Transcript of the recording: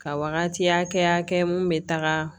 Ka wagati hakɛya kɛ mun be taga